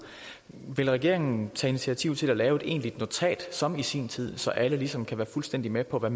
vil regeringen tage initiativ til at lave et egentligt notat som i sin tid så alle ligesom kan være fuldstændig med på hvad